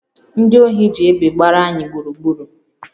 Ndị ohi ji egbe gbara anyị gburugburu